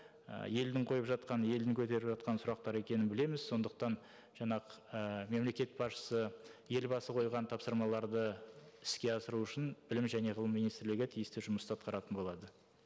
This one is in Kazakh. ы елдің қойып жатқан елдің көтеріп жатқан сұрақтары екенін білеміз сондықтан жаңа ыыы мемлекет басшысы елбасы қойған тапсырмаларды іске асыру үшін білім және ғылым министрлігі тиісті жұмысты атқаратын болады